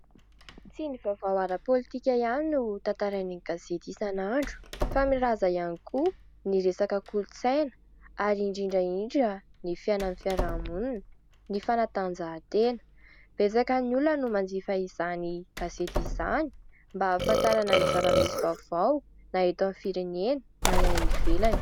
Tsy ny vaovao ara-politika ihany no tantarain'ny gazety isan'andro fa milaza ihany koa ny resaka kolontsaina ary indrindra indrindra ny fiainan'ny fiaraha-monina, ny fanatanjahantena. Betsaka ny olona no manjifa izany gazety izany mba ahafantarana ny zava-misy vaovao na eto amin'ny firenena na ny any ivelany.